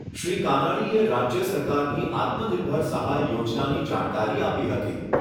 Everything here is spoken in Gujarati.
શ્રી કાનાણીએ રાજ્ય સરકારની આત્મનિર્ભર સહાય યોજનાની જાણકારી આપી હતી.